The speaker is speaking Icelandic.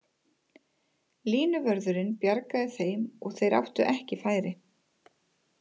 Línuvörðurinn bjargaði þeim og þeir áttu ekki færi.